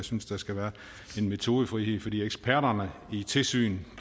synes der skal være en metodefrihed for eksperterne i tilsyn